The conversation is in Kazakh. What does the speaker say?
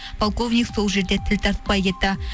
полковник сол жерде тіл тартпай кетті